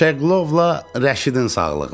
Şeqlovla Rəşidin sağlığına.